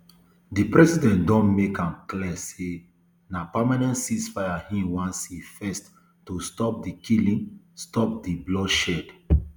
di president don make am clear say na permanent ceasefire im wan see first to stop di killing stop di bloodshed